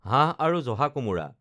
হাঁহ আৰু জহা কোমোৰা